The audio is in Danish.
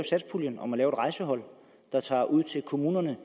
satspuljen om at lave et rejsehold der tager ud til kommunerne